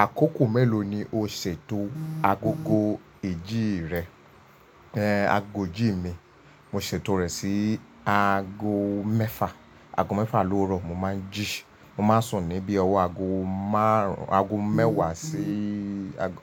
Àkókò mélòó ni o ṣètò agogo ijí rẹ? Aago jí mi, mo ṣètò rẹ̀ sí aago mẹ́fà, aago mefa ló wurọ̀ mo máa ń jí, mo máa ń sùn ní bí ọwọ́